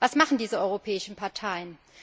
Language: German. Was machen diese europäischen Parteien?